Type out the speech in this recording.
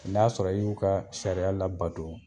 N'a sɔrɔ i y'u ka sariya labato